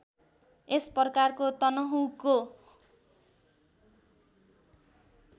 यसप्रकारको तनहूँको